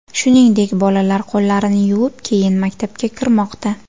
Shuningdek, bolalar qo‘llarini yuvib, keyin maktabga kirmoqda.